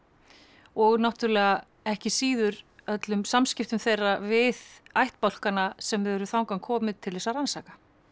og náttúrulega ekki síður öllum samskiptum þeirra við ættbálkana sem þau eru þangað komin til þess að rannsaka